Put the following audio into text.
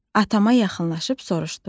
Atama yaxınlaşıb soruşdum.